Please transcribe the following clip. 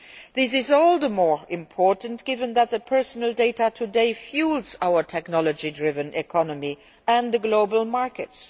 This is all the more important, given that personal data today fuel our technology driven economy and the global markets.